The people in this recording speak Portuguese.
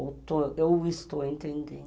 Eu estou entendendo.